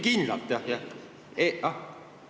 Kindlalt, jah-jah!